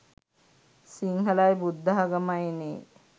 සිංහලයි බුද්ධාගමයිනේ.